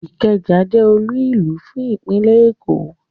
Ikeja je olúùlú fún ìpínlè Èkó